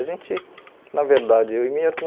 A gente, na verdade, eu e minha irmã,